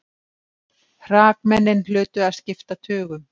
Hrakmennin hlutu að skipta tugum.